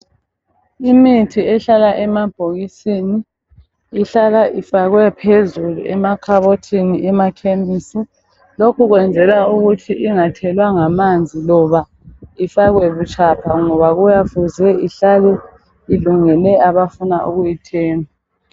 Imithi ehlala emabhokisini ihlala ifakwe phezulu emakhabothini emakhemisi .Lokhu kwenzelwa ukuthi ingathelwa ngamanzi loba ifakwe butshapha ngoba kuyabe kufuze ihlale ilungele abafuna ukuyithenga .